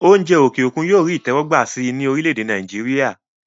oúnjẹ òkè òkun yóò rí ìtẹ́wọ́gbà sí i ní orílẹ̀-èdè Nàìjíríà